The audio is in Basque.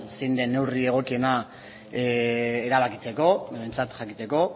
zein den neurri egokiena erabakitzeko behintzat jakiteko